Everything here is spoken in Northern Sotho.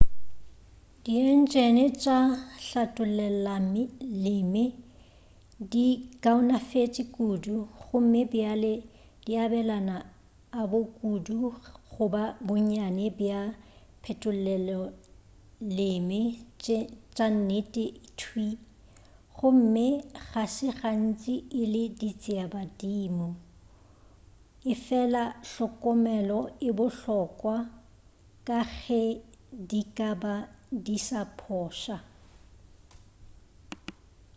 dientšene tša hlatollelaleme di kaonafetše kudu gomme bjale di abelana a bo kudu goba bonnyane bja diphetoleloleme tša nnete thwii gomme ga se gantši e le ditšeabadimo efela hlokomelo e bohlokwa ka ge di ka ba di sa phoša